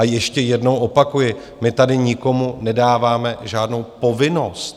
A ještě jednou opakuji: My tady nikomu nedáváme žádnou povinnost.